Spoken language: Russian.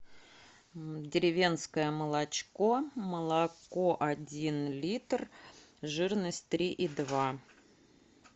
деревенское молочко молоко один литр жирность три и два